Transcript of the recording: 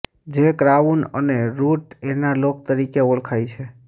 જે ક્રાઉન અને root analogue તરીકે ઓળખાય છે